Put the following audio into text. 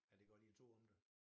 Ja det godt i er 2 om det